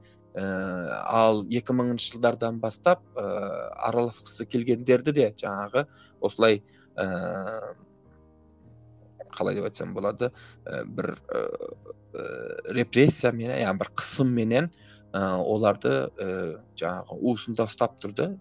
ііі ал екі мыңыншы жылдардан бастап ыыы араласқысы келгендерді де жаңағы осылай ыыы қалай деп айтсам болады ы бір ыыы репрессиямен ы иә бір қысымменен ы оларды ыыы жаңағы уысында ұстап тұрды